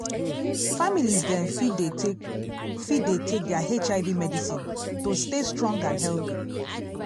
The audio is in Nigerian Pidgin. families dem fit dey take fit dey take their hiv medicine to stay strong and healthy